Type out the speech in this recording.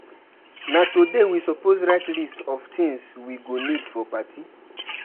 Na today we suppose write list of things we go need for party.